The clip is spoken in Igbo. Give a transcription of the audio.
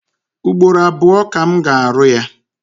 Ugboro abụọ ka m ga-arụ ya.